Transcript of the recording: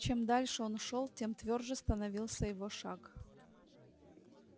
чем дальше он шёл тем твёрже становился его шаг